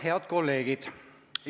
Head kolleegid!